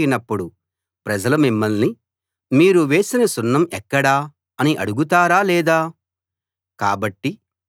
ఆ గోడ పడిపోయినప్పుడు ప్రజలు మిమ్మల్ని మీరు వేసిన సున్నం ఎక్కడ అని అడుగుతారా లేదా